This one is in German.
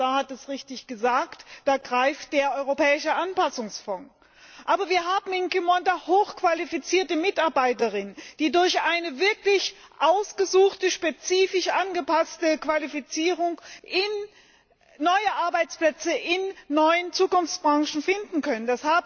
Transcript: Der Kommissar hat es richtig gesagt Da greift der Europäische Anpassungsfonds. Aber wir haben in Qimonda hochqualifizierte Mitarbeiterinnen und Mitarbeiter, die durch eine wirklich ausgesuchte, spezifisch angepasste Qualifizierung neue Arbeitsplätze in neuen Zukunftsbranchen finden können.